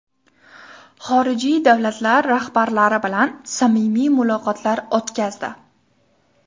Xorijiy davlatlar rahbarlari bilan samimiy muloqotlar o‘tkazdi.